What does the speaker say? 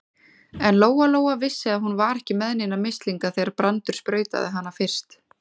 En Lóa-Lóa vissi að hún var ekki með neina mislinga þegar Brandur sprautaði hana fyrst.